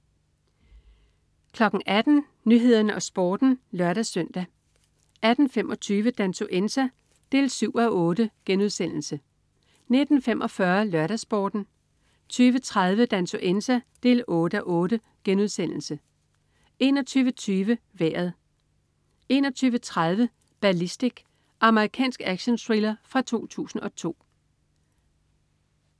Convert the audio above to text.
18.00 Nyhederne og Sporten (lør-søn) 18.25 Dansuenza 7:8* 19.45 LørdagsSporten 20.30 Dansuenza 8:8* 21.20 Vejret 21.30 Ballistic. Amerikansk actionthriller fra 2002